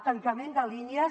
tancament de línies